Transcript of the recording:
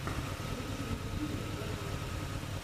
лучшая серия около кино